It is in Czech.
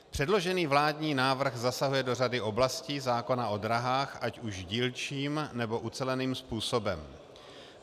Předložený vládní návrh zasahuje do řady oblastí zákona o dráhách, ať už dílčím, nebo uceleným způsobem.